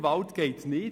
Gewalt geht nicht.